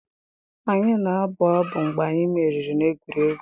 Anyị na-abụ abụ mgbe anyị meriri n'egwuregwu.